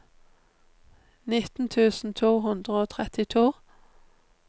nitten tusen to hundre og trettito